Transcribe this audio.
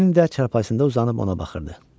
Lenni də çarpayısında uzanıb ona baxırdı.